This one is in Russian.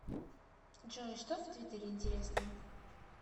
джой что в твиттере интересного